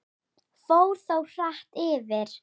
Fór þó hratt yfir.